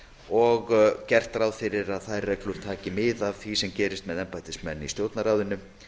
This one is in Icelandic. og gert er ráð fyrir að þær reglur taki mið af því sem gerist með embættismenn í stjórnarráðinu